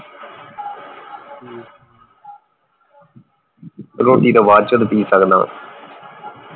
ਰੋਟੀ ਤੋਂ ਬਾਅਦ ਚ ਤੇ ਪੀ ਸਕਦਾ